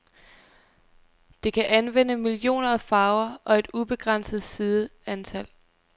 Det kan anvende millioner af farver og et ubegrænset sideantal.